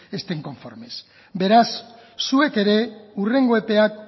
estén conformes beraz zuek ere hurrengo epeak